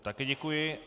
Také děkuji.